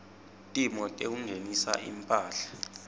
timo tekungenisa imphahla